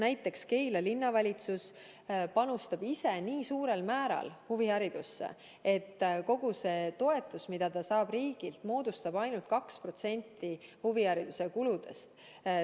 Näiteks Keila Linnavalitsus panustab ise huviharidusse nii suurel määral, et kogu see toetus, mille ta saab riigilt, moodustab ainult 2% huvihariduse kuludest.